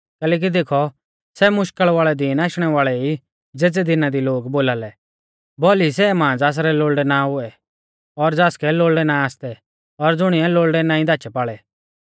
कैलैकि देखौ सै मुश्कल़ वाल़ै दीन आशणै वाल़ै ई ज़ेज़ै दिना दी लोग बोलालै भौली सै मां ज़ासरै लोल़डै ना हुऐ और ज़ासकै लोल़डै ना आसतै और ज़ुणीऐ लोल़ड़ै नाईं धाचैपाल़ै